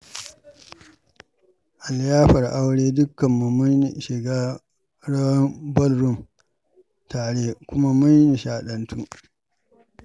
A liyafar aure, dukkanmu mun shiga rawar ballroom tare kuma mun nishaɗantu.